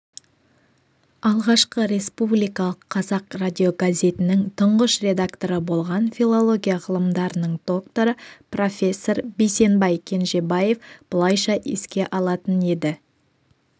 алғашқы республикалық қазақ радиогазетінің тұңғыш редакторы болған филология ғылымдарының докторы профессор бейсенбай кенжебаев былайша еске алатын еді